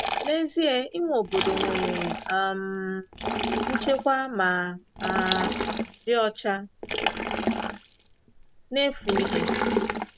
N’ezie, inwe obodo nwere um nchekwa ma um dị ọcha na-efu ihe.